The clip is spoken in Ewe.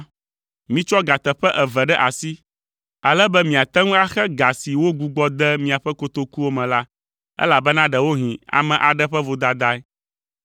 Mitsɔ ga teƒe eve ɖe asi, ale be miate ŋu axe ga si wogbugbɔ de miaƒe kotokuwo me la, elabena ɖewohĩ ame aɖe ƒe vodadae,